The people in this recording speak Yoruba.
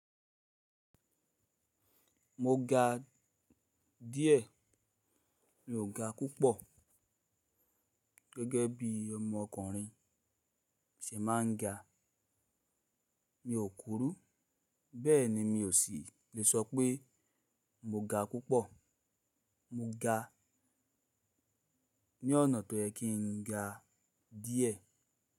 Mo ga díẹ̀, mi ò ga púpọ̀ gẹ́gẹ́ bí ọmọkùnrin ṣe máa ń ga. Mi ò kurú, bẹ́ẹ̀ ni mi ò sì le sọ pé mo ga púpọ̀. Mo ga ní ọ̀nà tó yẹ kí n ga díẹ̀.